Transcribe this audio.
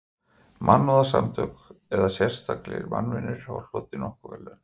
Mannúðarsamtök eða sérlegir mannvinir hafa hlotið nokkur verðlaun.